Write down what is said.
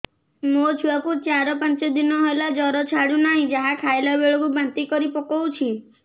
ମୋ ଛୁଆ କୁ ଚାର ପାଞ୍ଚ ଦିନ ହେଲା ଜର ଛାଡୁ ନାହିଁ ଯାହା ଖାଇଲା ବେଳକୁ ବାନ୍ତି କରି ପକଉଛି